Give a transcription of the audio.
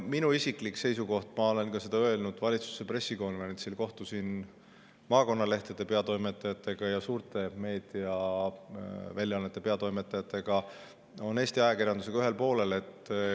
Minu isiklik seisukoht – ma olen seda öelnud ka valitsuse pressikonverentsil, ma kohtusin maakonnalehtede ja suurte meediaväljaannete peatoimetajatega – on Eesti ajakirjandusega.